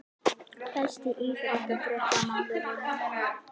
Besti íþróttafréttamaðurinn??